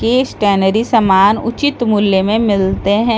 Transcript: ये सतेनरी सामान उचित मूल्य में मिलते है । जो स --